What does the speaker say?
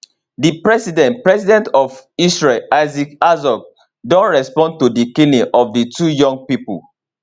di president president of israel isaac herzog don respond to di killing of di two young pipo